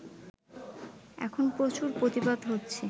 এখন প্রচুর প্রতিবাদ হচ্ছে